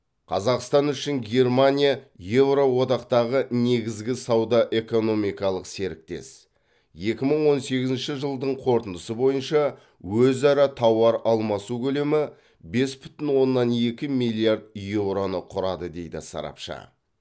қазақстан үшін германия еуроодақтағы негізгі сауда экономикалық серіктес екі мың он сегізінші жылдың қорытындысы бойынша өзара тауар алмасу көлемі бес бүтін оннан екі миллиард еуроны құрады дейді сарапшы